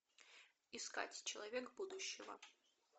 искать человек будущего